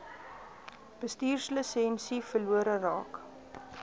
bestuurslisensie verlore raak